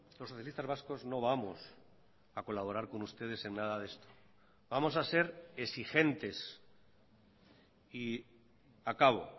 los socialistas vascos no vamos a colaborar con ustedes en nada de esto vamos a ser exigentes y acabo